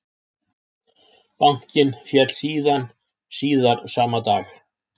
Bankinn féll síðan síðar sama dag